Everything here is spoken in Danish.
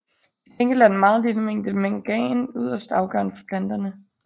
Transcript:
Til gengæld er den meget lille mængde mangan yderst afgørende for planterne